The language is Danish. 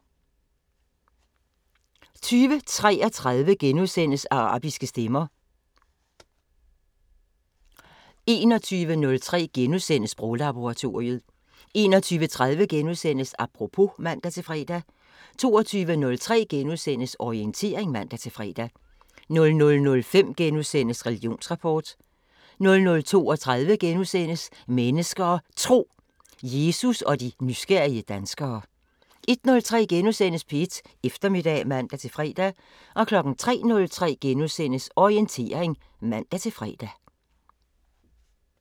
20:33: Arabiske stemmer * 21:03: Sproglaboratoriet * 21:30: Apropos *(man-fre) 22:03: Orientering *(man-fre) 00:05: Religionsrapport * 00:32: Mennesker og Tro: Jesus og de nysgerrige danskere * 01:03: P1 Eftermiddag *(man-fre) 03:03: Orientering *(man-fre)